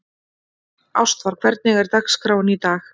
Ástvar, hvernig er dagskráin í dag?